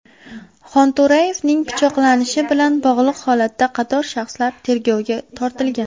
Xonto‘rayevning pichoqlanishi bilan bog‘liq holatda qator shaxslar tergovga tortilgan.